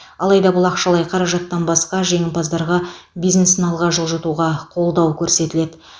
алайда бұл ақшалай қаражаттан басқа жеңімпаздарға бизнесін алға жылжытуға қолдау көрсетіледі